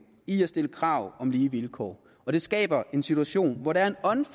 i at stille krav om lige vilkår og det skaber en situation hvor der